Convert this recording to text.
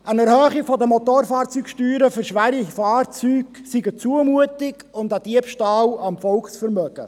Eine Erhöhung der Motorfahrzeugsteuern für schwere Fahrzeuge sei eine Zumutung und ein Diebstahl am Volksvermögen.